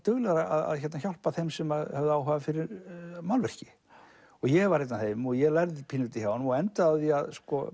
duglegur að hjálpa þeim sem höfðu áhuga fyrir málverki ég var einn af þeim og ég lærði pínulítið hjá honum og endaði á því